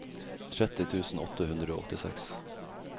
tretti tusen åtte hundre og åttiseks